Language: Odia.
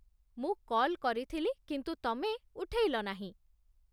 ମୁଁ କଲ୍ କରିଥିଲି, କିନ୍ତୁ ତମେ ଉଠେଇଲ ନାହିଁ